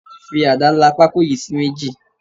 Fi ada la pako yìí sí méjì.